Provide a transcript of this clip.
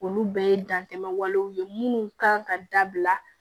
Olu bɛɛ ye dantɛmɛ walew ye minnu kan ka dabila